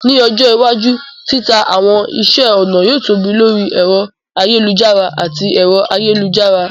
Ní ọjọ́ iwájú, títa àwọn iṣẹ́ ọnà yóò tóbi lórí ẹ̀rọ ayélujára àti ẹ̀rọ ayélujára.